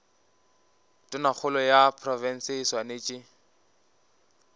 tonakgolo ya profense e swanetše